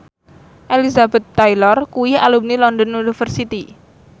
Elizabeth Taylor kuwi alumni London University